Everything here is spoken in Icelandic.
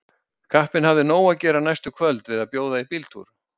Kappinn hafði nóg að gera næstu kvöld við að bjóða í bíltúr.